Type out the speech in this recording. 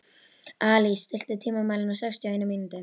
Alís, stilltu tímamælinn á sextíu og eina mínútur.